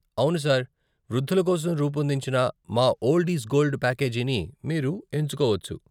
అవును సార్, వృద్ధుల కోసం రూపొందించిన మా 'ఓల్డ్ ఈజ్ గోల్డ్' ప్యాకేజీని మీరు ఎంచుకోవచ్చు.